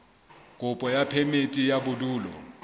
kopo ya phemiti ya bodulo